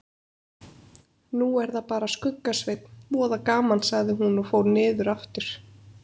Nú er það bara Skugga-Sveinn, voða gaman sagði hún og fór niður aftur.